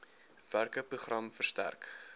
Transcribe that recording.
werke program versterk